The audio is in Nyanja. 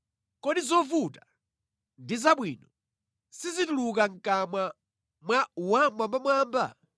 Kodi zovuta ndi zabwino sizituluka mʼkamwa mwa Wammwambamwamba?